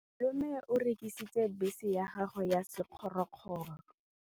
Malome o rekisitse bese ya gagwe ya sekgorokgoro.